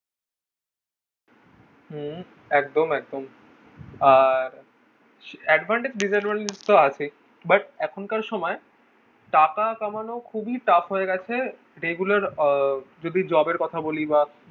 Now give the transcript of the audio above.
হম একদম একদম ah advantage disadvantage তো আছেই but এখনকার সময় টাকা কামানো খুবই tough হয়ে গেছে এগুলোর আহ যদি job এর কথা বলি বা